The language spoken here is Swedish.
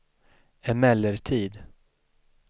emellertid